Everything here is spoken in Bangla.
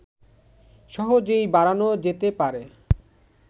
সহজেই বাড়ানো যেতে পারে